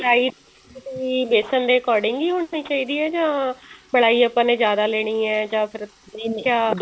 ਰਾਈ ਬੇਸਨ ਦੇ according ਹੀ ਹੋਣੀ ਚਾਹੀਦੀ ਹੈ ਜਾਂ ਮਲਾਈ ਆਪਾਂ ਨੇ ਜਿਆਦਾ ਲੈਣੀ ਹੈ ਜਾਂ ਫ਼ੇਰ